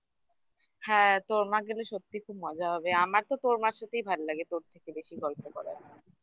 হ্যাঁ তোর মাকে তো সত্যিই খুব মজা হবে আমার তো তোর মার সাথেই ভাল লাগে তোর থেকে বেশি গল্প করার